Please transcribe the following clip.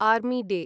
army day